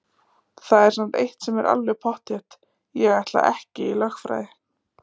Það er samt eitt sem er alveg pottþétt: Ég ætla ekki í lögfræði!